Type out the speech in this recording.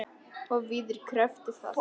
Og víðar kreppti að.